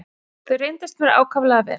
Þau reyndust mér ákaflega vel.